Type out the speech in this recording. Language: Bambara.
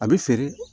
A bɛ feere